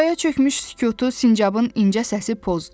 Araya çökmüş sükutu sincabın incə səsi pozdu.